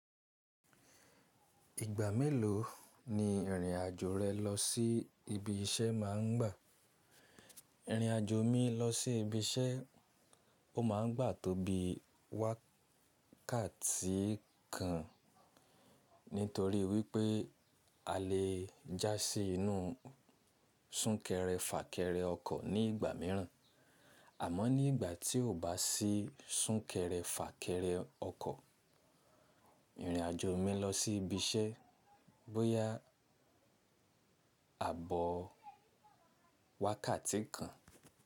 Ìgbà mélòó ni ìrìnàjò rẹ lọ sí ibi iṣẹ́ máa ń gbà? Ìrìnàjò mi lọ sí ibi iṣẹ́, ó máa ń gbà tó bí wákàtí kan nítorí wípé a lè já sí inú súnkẹrẹ fàkẹrẹ ọkọ̀ ní ìgbà míràn àmọ́ ní ìgbà tí o bá sí súnkẹrẹ fàkẹrẹ ọkọ̀, ìrìnàjò mi lọ sí ibi iṣẹ́ bóyá àbọ̀ wákàtí kan.